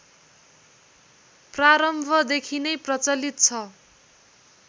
प्रारम्भदेखि नै प्रचलित छ